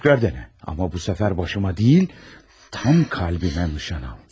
təkrar dene, amma bu səfər başıma deyil, tam qəlbimə nişan al.